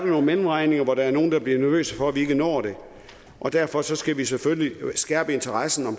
nogle mellemregninger hvor der er nogle der bliver nervøse for at vi ikke når det og derfor skal vi selvfølgelig skærpe interessen